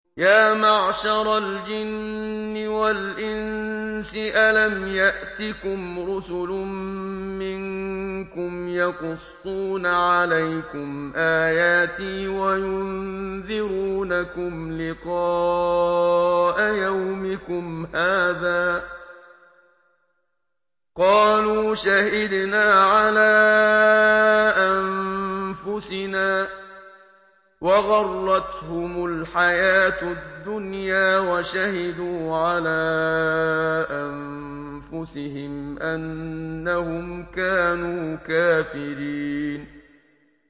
يَا مَعْشَرَ الْجِنِّ وَالْإِنسِ أَلَمْ يَأْتِكُمْ رُسُلٌ مِّنكُمْ يَقُصُّونَ عَلَيْكُمْ آيَاتِي وَيُنذِرُونَكُمْ لِقَاءَ يَوْمِكُمْ هَٰذَا ۚ قَالُوا شَهِدْنَا عَلَىٰ أَنفُسِنَا ۖ وَغَرَّتْهُمُ الْحَيَاةُ الدُّنْيَا وَشَهِدُوا عَلَىٰ أَنفُسِهِمْ أَنَّهُمْ كَانُوا كَافِرِينَ